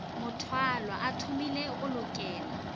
mothwalwa a thomilego go lokela